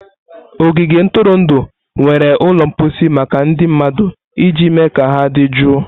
Ogige ntụrụndụ nwere ụlọ mposi maka ndị mmadụ iji mee ka ha dị jụụ.